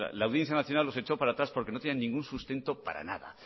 la audiencia nacional los echó para atrás porque no tienen ningún sustento para nada